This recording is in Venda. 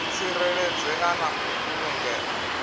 u tsireledzea na u vhulungea